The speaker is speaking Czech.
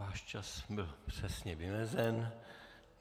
Váš čas byl přesně vymezen.